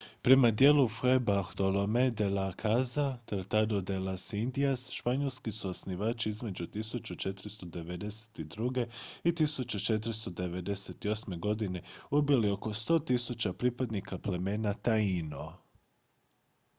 prema djelu fray bartolomé de las casas tratado de las indias španjolski su osvajači između 1492. i 1498. godine ubili oko 100 000 pripadnika plemena taíno